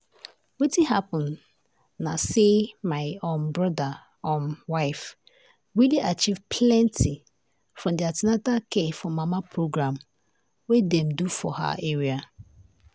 wetin happen na say my um brother um wife really achieve plenty from the an ten atal care for mama program wey dem do for her area.